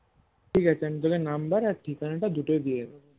ঠিকাছে আমি তোকে নাম্বার আর ঠিকানা তা দুটোই দিয়ে দেব